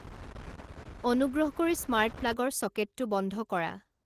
অনুগ্ৰহ কৰি স্মাৰ্ট প্লাগৰ ছকেটটো বন্ধ কৰা